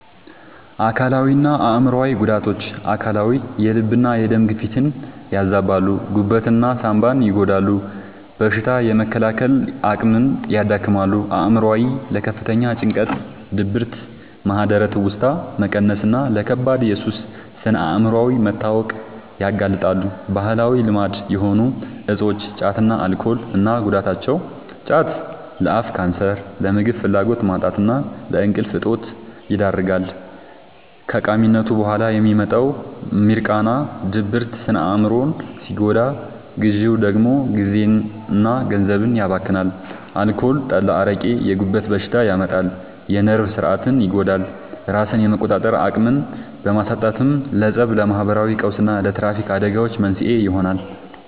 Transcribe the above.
አካላዊና አእምሯዊ ጉዳቶች፦ አካላዊ፦ የልብና የደም ግፊትን ያዛባሉ፣ ጉበትና ሳንባን ይጎዳሉ፣ በሽታ የመከላከል አቅምን ያዳክማሉ። አእምሯዊ፦ ለከፍተኛ ጭንቀት፣ ድብርት፣ ማህደረ-ትውስታ መቀነስና ለከባድ የሱስ ስነ-አእምሯዊ መታወክ ያጋልጣሉ። ባህላዊ ልማድ የሆኑ እፆች (ጫትና አልኮል) እና ጉዳታቸው፦ ጫት፦ ለአፍ ካንሰር፣ ለምግብ ፍላጎት ማጣትና ለእንቅልፍ እጦት ይዳርጋል። ከቃሚነቱ በኋላ የሚመጣው «ሚርቃና» (ድብርት) ስነ-አእምሮን ሲጎዳ፣ ግዢው ደግሞ ጊዜና ገንዘብን ያባክናል። አልኮል (ጠላ፣ አረቄ)፦ የጉበት በሽታ ያመጣል፣ የነርቭ ሥርዓትን ይጎዳል፤ ራስን የመቆጣጠር አቅምን በማሳጣትም ለፀብ፣ ለማህበራዊ ቀውስና ለትራፊክ አደጋዎች መንስኤ ይሆናል።